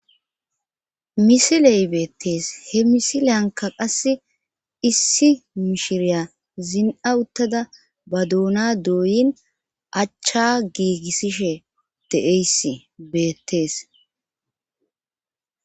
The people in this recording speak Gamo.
Misiley beettees he misileyanka qasse issi mishiriya zin7a uttada ba duuna dooyin achcha giigissishe deeyssi beettees